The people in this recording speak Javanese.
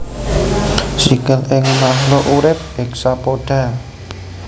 Sikil ing makluk urip hexapoda